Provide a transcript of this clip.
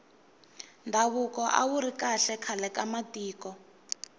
ndhavuko awuri kahle khale ka matiko